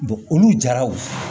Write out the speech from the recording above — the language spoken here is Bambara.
olu jaraw